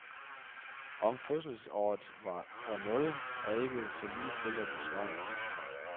Om fødselsåret var år nul er ikke så ligetil at besvare.